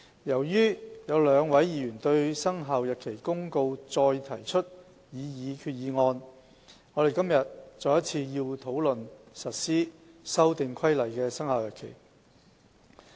由於有兩位議員對《生效日期公告》再提出決議案，我們今天要再一次討論實施《修訂規例》的生效日期。